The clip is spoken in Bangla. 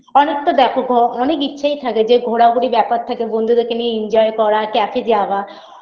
অনেকটা দেখো ঘ অনেক ইচ্ছায় থাকে যে ঘোরাঘুরির ব্যাপার থাকে বন্ধুদেরকে নিয়ে enjoy করা cafe -এ যাওয়া BREATH